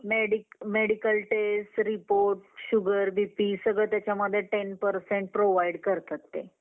अं अं खुप मोठे अं picture असतात आणखी serials पण असतात जस आपण आपल्याला जे आवडतं त्या अनुसार आपण entertainment करू शकतो entertainment साठी अं आता खूप option आहेत